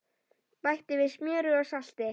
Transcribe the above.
Bætti við smjöri og salti.